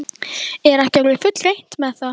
Er ekki orðið fullreynt með það?